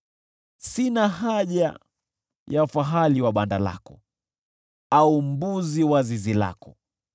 Sina haja ya fahali wa banda lako, au mbuzi wa zizi lako.